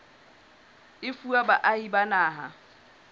e fuwa baahi ba naha